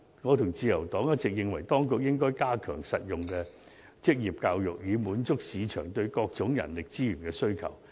我和自由黨一直認為當局應加強實用的職業教育，以滿足市場對各種人力資源的需求。